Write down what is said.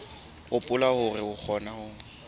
hopola hore re kgona ho